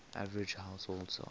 average household size